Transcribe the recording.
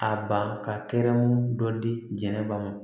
A ban ka kɛrɛmu dɔ di jɛnɛba ma